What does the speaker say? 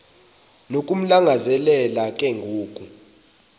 nokumlangazelela ke ngoku